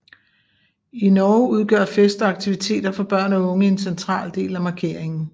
I Norge udgør fest og aktiviteter for børn og unge en central del af markeringen